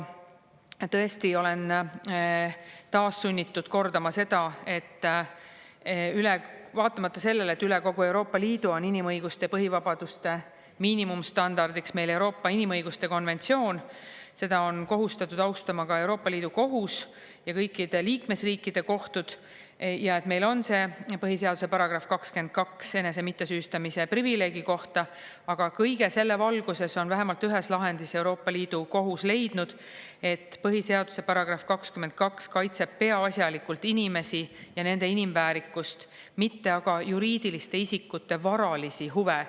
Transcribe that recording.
Tõesti, olen taas sunnitud kordama seda, et vaatamata sellele, et üle kogu Euroopa Liidu on inimõiguste ja põhivabaduste miinimumstandardiks meil Euroopa inimõiguste konventsioon, seda on kohustatud austama ka Euroopa Liidu Kohus ja kõikide liikmesriikide kohtud, ja et meil on see põhiseaduse § 22 enese mittesüüstamise privileegi kohta, aga kõige selle valguses on vähemalt ühes lahendis Euroopa Liidu Kohus leidnud, et põhiseaduse § 22 kaitseb peaasjalikult inimesi ja nende inimväärikust, mitte aga juriidiliste isikute varalisi huve.